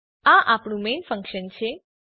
આ આપણુ main function છે